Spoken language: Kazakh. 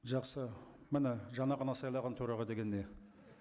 жақсы міне жаңа ғана сайлаған төраға деген не